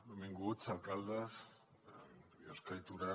benvinguts alcaldes de biosca i torà